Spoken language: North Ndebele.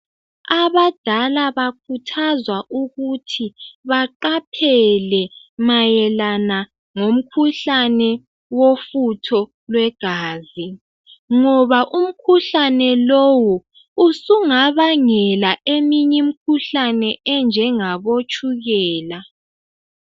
Abadala bakhuthazwa ukuthi baqaphele mayelana ngomkhuhlane wofutho lwegazi ngoba umkhuhlane lowu usungabangela eminye imikhuhlane enjengabo tshukela.